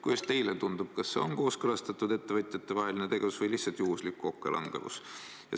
Kuidas teile tundub, kas see oli ettevõtjate vahel kooskõlastatud tegevus või lihtsalt juhuslik kokkulangevus?